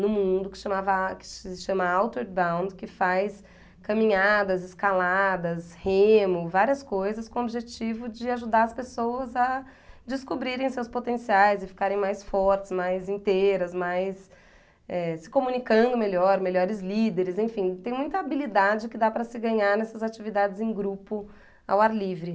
no mundo, que se chamava que se chama Outward Bound, que faz caminhadas, escaladas, remo, várias coisas com o objetivo de ajudar as pessoas a descobrirem seus potenciais e ficarem mais fortes, mais inteiras, mais, eh... se comunicando melhor, melhores líderes, enfim, tem muita habilidade que dá para se ganhar nessas atividades em grupo ao ar livre.